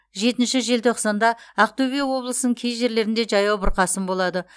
жетінші желтоқсанда ақтөбе облысының кей жерлерінде жаяу бұрқасын болады